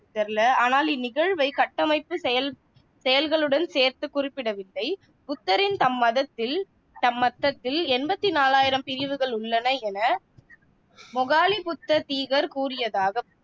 தெரியல ஆனால் இந்நிகழ்வைக் கட்டமைப்புச் செயல் செயல்களுடன் சேர்த்து குறிப்பிடவில்லை புத்தரின் தம் மதத்தில் தம்மத்தத்தில் எண்பத்தி நாலாயிரம் பிரிவுகள் உள்ளன என மொகாலிபுத்த தீகர் கூறியதாக